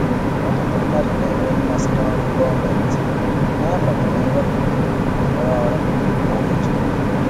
Ọtụtụ mmadụ na-enwe mmasị n'ọrụ gọọmentị n'agbanyeghị nghọtahie banyere ọrụ ha kwa ụbọchị.